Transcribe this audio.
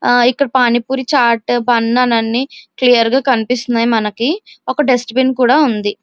ఆ ఇకడ పాని పూరి చాట్ బన్ అని అన్ని క్లియర్ గ కనిపిస్తున్నాయి మనకి వక డస్ట్ బిన్ కూడా వుంది.